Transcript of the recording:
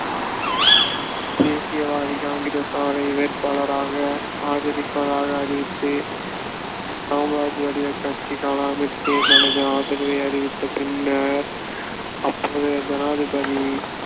தேசியவாதி காங்கிரஸ் அவரை வேட்பாளராக ஆதரிப்பதாக அறிவித்து சமாஜ்வாடி கட்சி கலாமிற்கு தனது ஆதரவை அறிவித்த பின்னர் அப்போதைய ஜனாதிபதி